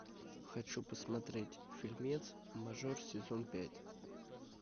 хочу посмотреть фильмец мажор сезон пять